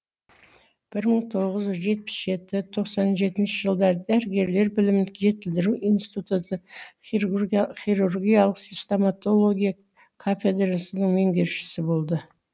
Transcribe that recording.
бір мың тоғыз жүз жетпіс жеті тоқсан жетінші жылдары дәрігерлер білімін жетілдіру институты хирургиялық стамотология кафедрасының меңгерушісі болды